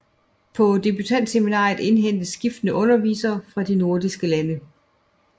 På debutantseminaret indhentes skiftende undervisere fra de nordiske lande